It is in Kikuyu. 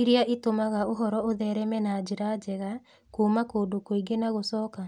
iria itũmaga ũhoro ũthereme na njĩra njega kuuma kũndũ kũingĩ na gũcoka?